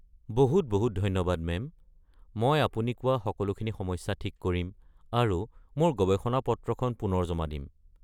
বহুত বহুত ধন্যবাদ মেম, মই আপুনি কোৱা সকলোখিনি সমস্যা ঠিক কৰিম আৰু মোৰ গৱেষণা-পত্ৰখন পুনৰ জমা দিম।